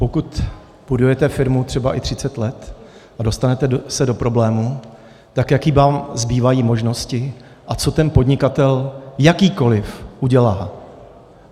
Pokud budujete firmu, třeba i 30 let, a dostanete se do problémů, tak jaké vám zbývají možnosti a co ten podnikatel - jakýkoliv - udělá?